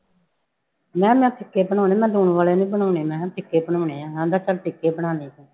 ਮੈਂ ਕਿਹਾ ਮੈਂ ਫ਼ਿਕੇ ਬਣਾਉਣੇ ਮੈਂ ਲੂਣ ਵਾਲੇ ਨੀ ਬਣਾਉਣੇ, ਮੈਂ ਕਿਹਾ ਫ਼ਿਕੇ ਬਣਾਉਣੇ ਆ, ਕਹਿੰਦਾ ਚੱਲ ਫ਼ਿਕੇ ਬਣਾ ਲਈ ਤੂੰ